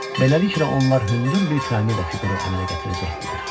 Beləliklə, onlar hündür bir piramida fiquru əmələ gətirəcəkdilər.